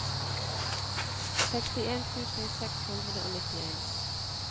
sekstien tusen seks hundre og nittien